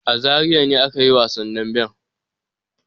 A Zariya ne aka yi wasan damben.